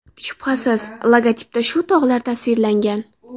Shubhasiz, logotipda shu tog‘lar tasvirlangan.